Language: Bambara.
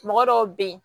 Mɔgɔ dɔw be yen